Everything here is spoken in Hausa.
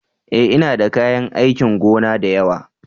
E! Ina da kayan aikin gona da yawa.